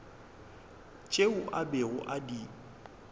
tšeo a bego a di